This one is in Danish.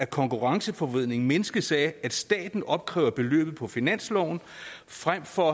konkurrenceforvridningen mindskes af at staten opkræver beløbet på finansloven frem for